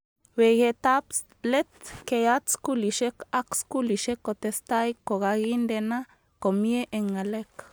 Weketab let keyat skulishek ak skulishek kotestai kokakindena komie eng ngalek